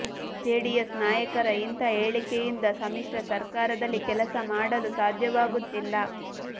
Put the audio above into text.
JDS ನಾಯಕರ ಇಂಥ ಹೇಳಿಕೆಯಿಂದ ಸಮ್ಮಿಶ್ರ ಸರ್ಕಾರದಲ್ಲಿ ಕೆಲಸ ಮಾಡಲು ಸಾಧ್ಯವಾಗುತ್ತಿಲ್ಲ